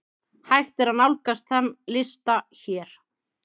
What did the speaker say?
Hægt er nálgast þann lista hér.